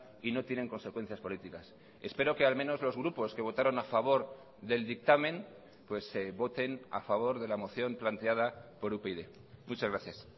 y no tienen consecuencias políticas espero que al menos los grupos que votaron a favor del dictamen voten a favor de la moción planteada por upyd muchas gracias